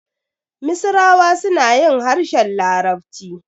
Misirawa suna yin harshen larabci.